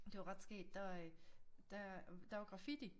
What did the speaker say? Det var ret skægt der øh der der var graffiti